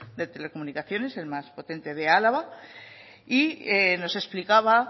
de telecomunicaciones el más potente de álava y nos explicaba